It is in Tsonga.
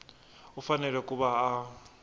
u fanele ku va a